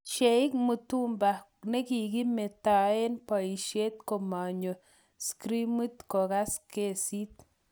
Sheikh Mutumba- nekikimetae poishet komanyo sereemut kokas kesit